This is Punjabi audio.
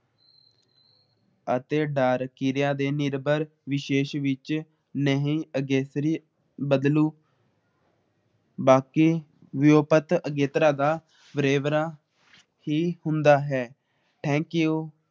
ਅਤੇ ਡਰ ਕਿਰਿਆ ਦੇ ਨਿਰਭਰ ਵਿਸ਼ੇਸ਼ ਵਿੱਚ ਨਹੀਂ ਅਗੇਤਰੀ ਬਦਲੁ ਬਾਕੀ ਲੁਪਤ ਅਗੇਤਰਾ ਦਾ ਵੇਰਵਾ ਹੀ ਹੁੰਦਾ ਹੈ । Thank you